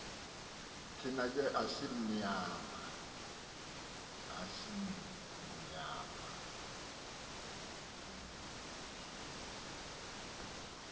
thina ke asimnyama